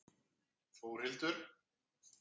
Þórhildur